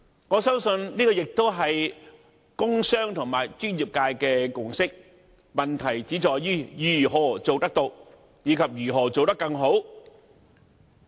我相信，這也是工商和專業界的共識，問題只在於如何做得到？以及如何做得更好？